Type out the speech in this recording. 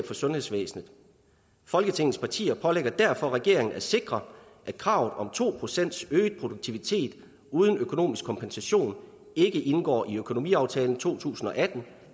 for sundhedsvæsenet folketingets partier pålægger derfor regeringen at sikre at kravet om to procent øget produktivitet uden økonomisk kompensation ikke indgår i økonomiaftalen to tusind og atten